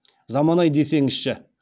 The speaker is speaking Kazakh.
заман ай десеңізші